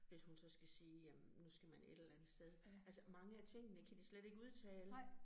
Hvis hun så skal sige jamen nu skal man et eller andet sted. Altså mange af tingene kan de slet ikke udtale